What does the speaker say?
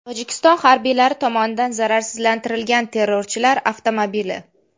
Tojikiston harbiylari tomonidan zararsizlantirilgan terrorchilar avtomobili.